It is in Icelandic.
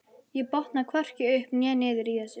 Ég botna hvorki upp né niður í þessu.